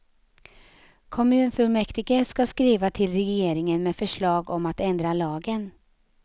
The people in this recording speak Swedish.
Kommunfullmäktige ska skriva till regeringen med förslag om att ändra lagen.